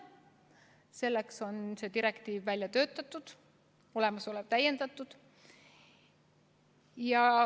Selleks on see direktiiv välja töötatud, olemasolevat täiendatud.